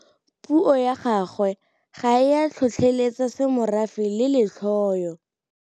Puo ya gagwe ga e a tlhotlheletsa semorafe le letlhoyo.